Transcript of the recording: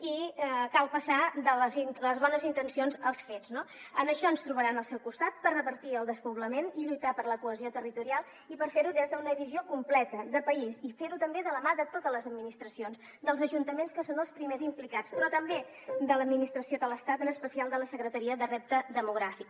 i cal passar de les bones intencions als fets no en això ens trobaran al seu costat per revertir el despoblament i lluitar per la cohesió territorial i per fer ho des d’una visió completa de país i fer ho també de la mà de totes les administracions dels ajuntaments que són els primers implicats però també de l’administració de l’estat en especial de la secretaria per al repte demogràfic